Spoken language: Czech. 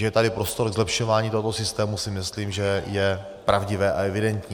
Že je tady prostor k zlepšování tohoto systému, si myslím, že je pravdivé a evidentní.